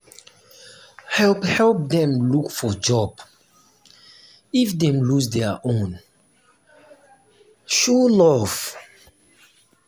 help help dem look for job if dem lose dia own; show love.